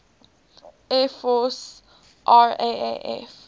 air force raaf